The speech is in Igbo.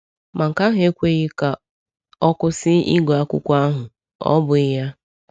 Ma nke ahụ ekweghị ka ọ kwụsị ịgụ akwụkwọ ahụ, ọ bụghị ya?